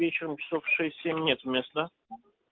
вечером часов в шесть семь нет места да